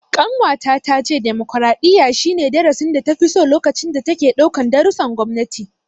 Ƙanwata ta ce demokaraɗiyya, shi ne darasin data fi so lokacin da take ɗaukan darussan gwamnati.